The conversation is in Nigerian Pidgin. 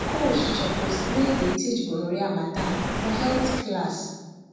schools suppose really dey teach gonorrhea matter for health class